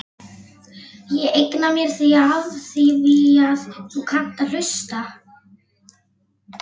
Ég eigna mér þig afþvíað þú kannt að hlusta.